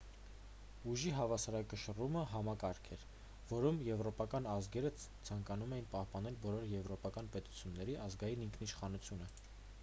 ուժի հավասարակշռումը համակարգ էր որում եվրոպական ազգերը ցանկանում էին պահպանել բոլոր եվրոպական պետությունների ազգային ինքնիշխանությունը